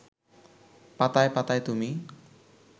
পাতায় পাতায় তুমি